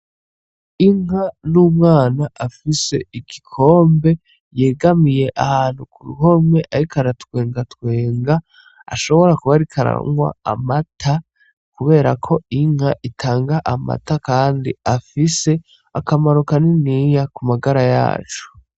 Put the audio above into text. Inka n’umwana afise igikombe yegamiye ahantu ku ruhome ariko aratwengatwenga ashobora kuba ariko aranwa amata kubera ko inka itanga amata kandi afise akamaro kaniniya ku magara yacu .